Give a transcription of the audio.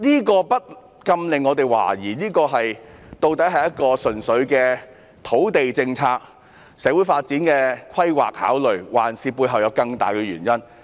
這不禁令我們懷疑，這究竟純粹是土地政策，是出於社會發展的考慮，抑或背後還有更大的原因呢？